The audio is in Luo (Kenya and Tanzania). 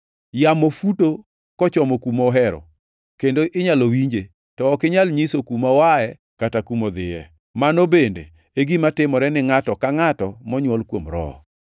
Yamo futo kochomo kuma ohero, kendo inyalo winje, to ok inyal nyiso kuma oaye kata kuma odhiye. Mano bende e gima timore ni ngʼato ka ngʼato monywol kuom Roho.”